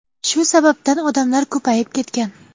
Shu sababdan odamlar ko‘payib ketgan.